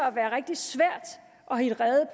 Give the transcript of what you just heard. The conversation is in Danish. at være rigtig svært at hitte rede